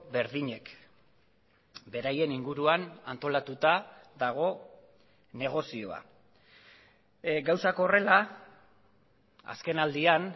berdinek beraien inguruan antolatuta dago negozioa gauzak horrela azkenaldian